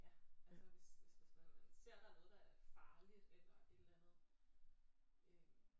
Ja altså hvis hvis hvis man ser at der er noget der er farligt eller et eller andet øh